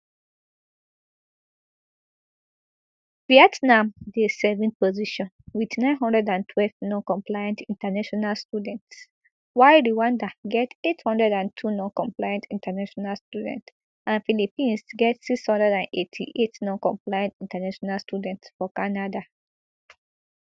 vietnam dey seventh position wit nine hundred and twelve noncompliant international students while rwanda get eight hundred and two noncompliant international students and philippines get six hundred and eighty-eight noncompliant international students for canada